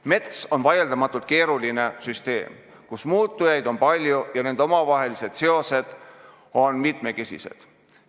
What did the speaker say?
Mets on vaieldamatult keeruline süsteem, kus muutujaid on palju ja nende omavahelised seosed on mitmesugused.